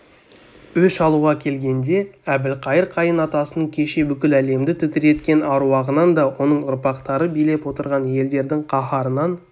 өш алуға келгенде әбілқайыр қайын атасының кеше бүкіл әлемді тітіреткен аруағынан да оның ұрпақтары билеп отырған елдердің қаһарынан